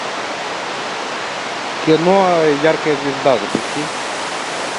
кино яркая звезда запусти